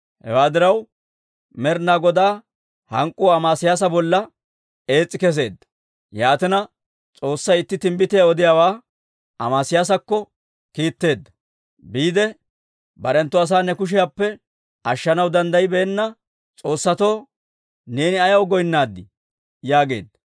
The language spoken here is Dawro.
Hewaa diraw, Med'inaa Godaa hank'k'uu Amesiyaasa bolla ees's'i kesseedda; yaatina, S'oossay itti timbbitiyaa odiyaawaa Amesiyaasakko kiitteedda. Biide, «Barenttu asaa ne kushiyaappe ashshanaw danddayibeenna s'oossatoo neeni ayaw goynnaadii?» yaageedda.